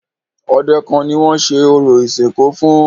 Ọdẹ kan ni wọ́n ṣe orò ìsìnkú fún.